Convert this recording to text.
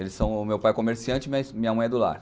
Eles são, meu pai é comerciante, mas minha mãe é do lar.